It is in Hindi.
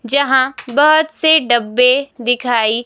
जहां बहुत से डब्बे दिखाई--